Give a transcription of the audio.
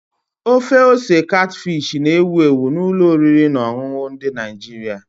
Ofe ose katfish na-ewu ewu na ụlọ oriri na ọṅụṅụ ndị Nigeria.